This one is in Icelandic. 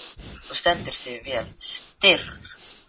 Þú stendur þig vel, Styrr!